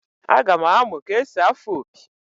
Aga m amụ ka-esi afụ opi